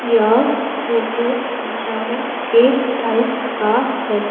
यह फोटो दशावन के टाइम का है।